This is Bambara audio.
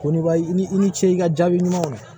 Ko niba i ni i ni ce i ka jaabi ɲumanw ye